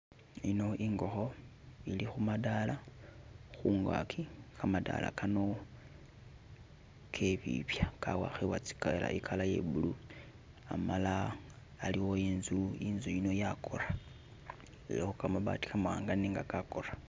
Ino ingokho ili khu madala khungaki kamadala kano kebibya kawakhibwa, i'color ye blue amala iliwo inzu, inzu yino yakora, ilikho kamabati kamawanga nenga kakora.